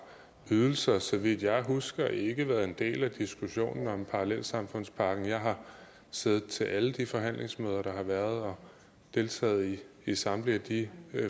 ydelser så vidt jeg husker ikke været en del af diskussionen om parallelsamfundspakken jeg har siddet til alle de forhandlingsmøder der har været og deltaget i samtlige af de